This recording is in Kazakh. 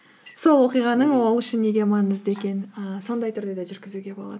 сол оқиғаның ол үшін неге маңызды екенін ііі сондай түрде де жүргізуге болады